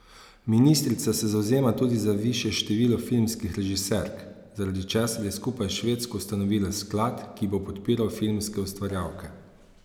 Ministrica se zavzema tudi za višje število filmskih režiserk, zaradi česar je skupaj s Švedsko ustanovila sklad, ki bo podpiral filmske ustvarjalke.